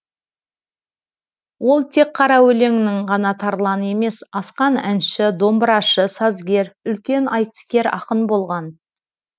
ол тек қара өлеңнің ғана тарланы емес асқан әнші домбырашы сазгер үлкен айтыскер ақын болған